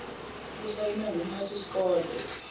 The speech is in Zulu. lusayinwe ngumphathi sikole